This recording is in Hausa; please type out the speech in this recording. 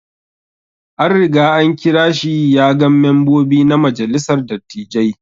An Riga an kira shi ya gan membobi na majalissar dattijai.